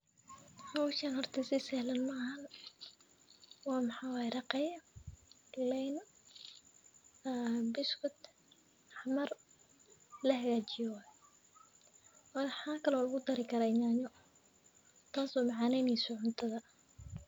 Howshan horta si sahlan maaha. W a maxaa way raqey galey aa bskut xamar lahagajiye waye maxaa kale lugudari karaah nyanayo tas oo macaneyso cuntada.